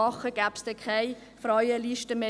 Gäbe es dann keine Frauenlisten mehr?